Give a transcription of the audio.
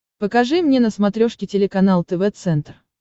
покажи мне на смотрешке телеканал тв центр